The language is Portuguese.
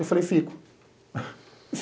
Eu falei, fico.